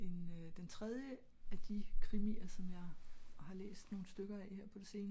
den øh den tredje af de krimier som jeg har læst nogle stykker af her på seneste